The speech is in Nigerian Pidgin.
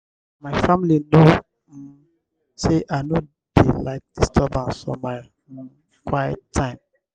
my family know um sey i no dey like disturbance for my um quiet time.